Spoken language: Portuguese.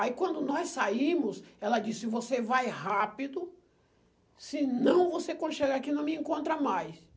Aí quando nós saímos, ela disse, você vai rápido, senão você quando chegar aqui não me encontra mais.